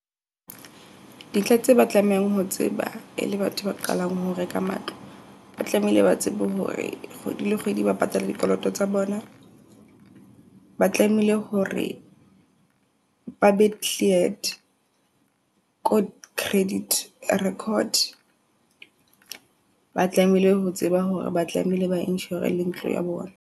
Dintlha tse ba tlamehang ho tseba e le batho ba qalang ho reka matlo. Ba tlamehile ba tsebe hore kgwedi le kgwedi ba patala dikoloto tsa bona. Ba tlamehile hore ba be cleared ko credit record. Ba tlamehile ho tseba hore ba tlamehile ba insure le ntlo ya bona.